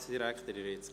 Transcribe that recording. – Das ist der Fall.